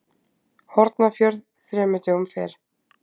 Hornafjörð þremur dögum fyrr.